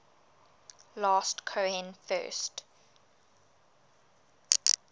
last cohen first